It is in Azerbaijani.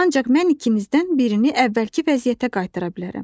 Ancaq mən ikinizdən birini əvvəlki vəziyyətə qaytara bilərəm.